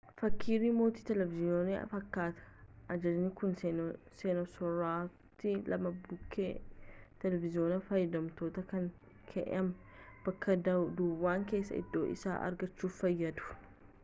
fakkii riimoota televiiziyoonaa fakkaatee ajajaan kun seensaroota lama bukkee televiiziyoona fayyadamtootaa kan kaahame bakka duwwaa keessaa iddoo isaa argachuuf fayyadu